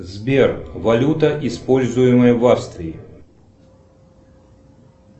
сбер валюта используемая в австрии